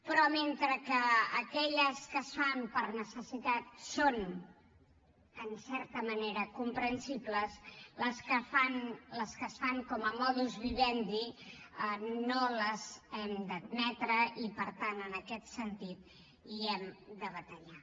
però mentre que aquelles que es fan per necessitat són en certa manera comprensibles les que es fan com a modus vivendi no les hem d’admetre i per tant en aquest sentit hi hem de batallar